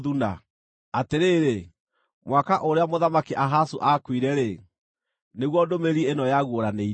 Atĩrĩrĩ, mwaka ũrĩa Mũthamaki Ahazu aakuire-rĩ, nĩguo ndũmĩrĩri ĩno yaguũranĩirio: